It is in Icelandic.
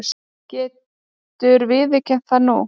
Getur viðurkennt það nú.